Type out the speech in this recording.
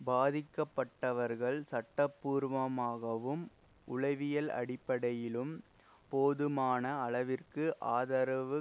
பாதிக்கப்பட்டவர்கள் சட்டபூர்வமாகவும் உளவியல் அடிப்படையிலும் போதுமான அளவிற்கு ஆதரவு